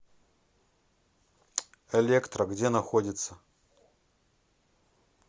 электро где находится